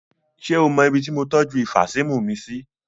Ṣé o mọ ibí tí mo tọju ifasímu mi sí?